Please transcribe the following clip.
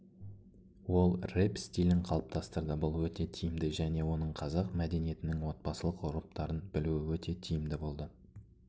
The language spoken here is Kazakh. ол рэп стилін қалыптастырды бұл өте тиімді және оның қазақ мәдениетінің отбасылық ғұрыптарын білуі өте тиімді болды